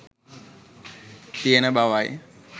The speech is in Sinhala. තියෙන බවයි.